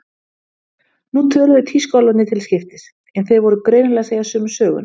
Nú töluðu tískuálfarnir til skiptis, en þeir voru greinilega að segja sömu söguna.